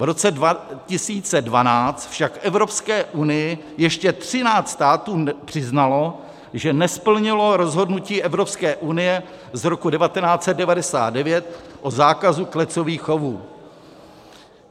V roce 2012 však Evropské unii ještě 13 států přiznalo, že nesplnilo rozhodnutí Evropské unie z roku 1999 o zákazu klecových chovů.